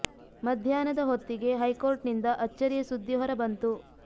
ಮಧ್ಯಾಹ್ನದ ಹೊತ್ತಿಗೆ high court ನಿಂದ ಅಚ್ಚರಿಯ ಸುದ್ದಿ ಹೊರ ಬಂತು